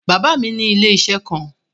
Bàbá mi ní ilé-iṣẹ́ kan.